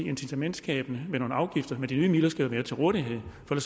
incitamentsskabende med nogle afgifter men de nye midler skal jo være til rådighed for